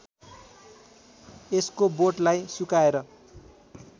यसको बोटलाई सुकाएर